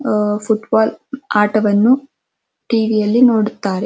ಅಅ ಫುಟ್ಬಾಲ್ ಆಟವನ್ನು ಡೈಲಿ ಟಿ.ವಿಯಲ್ಲಿ ನೋಡುತ್ತಾರೆ.